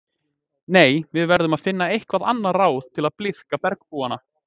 Nei, við verðum að finna eitthvað annað ráð til að blíðka bergbúana